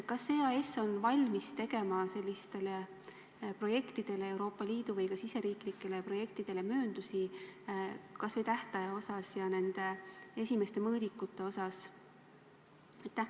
Kas EAS on valmis tegema sellistele projektidele, Euroopa Liidu või ka riigisisestele projektidele mööndusi kas või tähtaja osas ja ka nende esimeste mõõdikute osas?